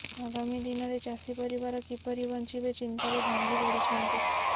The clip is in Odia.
ଆଗାମୀ ଦିନରେ ଚାଷି ପରିବାର କିପରି ବଞ୍ଚିବେ ଚିନ୍ତାରେ ଭାଙ୍ଗି ପଡିଛନ୍ତି